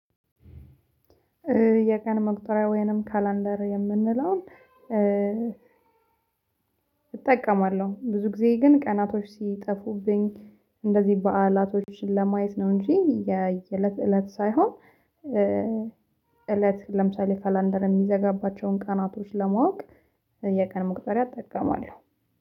የቀን መቁጠሪያ ወይንም ካላንደር የምንለውን እጠቀማለሁ ብዙ ጊዜ ግን ቀናቶች ሲጠፉብኝ እንደዚህ በዓላቶችን ለማየት ነው እንጂ። የለት እለት ሳይሆን እለት ለምሳሌ ካላንደር የሚዘጋባቸውን ቀናቶች ለማወቅ የቀን መቁጠሪያ እጠቀማለሁ